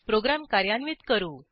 program कार्यान्वित करू